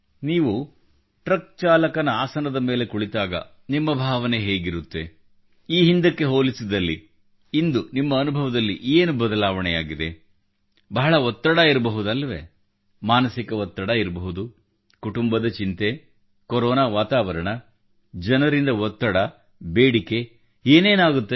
ನೀವು ಟ್ರಕ್ನಳ ಚಾಲಕ ಆಸನದ ಮೇಲೆ ಕುಳಿತಾಗ ನಿಮ್ಮ ಭಾವನೆ ಹೇಗಿರುತ್ತದೆ ಹಿಂದಕ್ಕೆ ಹೋಲಿಸಿದಲ್ಲಿ ಇಂದು ನಿಮ್ಮ ಅನುಭವದಲ್ಲಿ ಏನು ಬದಲಾವಣೆಯಾಗಿದೆ ಬಹಳ ಒತ್ತಡ ಇರಬಹುದಲ್ಲವೇ ಮಾನಸಿಕ ಒತ್ತಡ ಇರಬಹುದು ಕುಟುಂಬದ ಚಿಂತೆ ಕೊರೊನಾ ವಾತಾವರಣ ಜನರಿಂದ ಒತ್ತಡ ಬೇಡಿಕೆ ಏನೇನಾಗುತ್ತದೆ